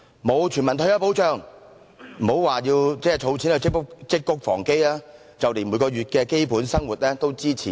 欠缺全民退休保障，別說儲錢積穀防飢，就連每個月的基本生活也支持不了。